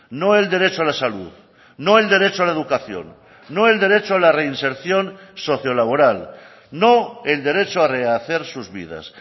no el derecho a la salud no el derecho a la educación no el derecho a la reinserción socio laboral no el derecho a rehacer sus vidas